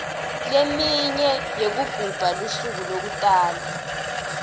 leminye yekugubha lusuku lekutalwa